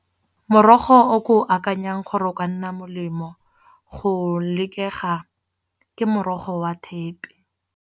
Morogo o ko akanyang gore o ka nna molemo go lekega ke morogo wa thepe.